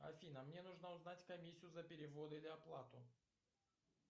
афина мне нужно узнать комиссию за перевод или оплату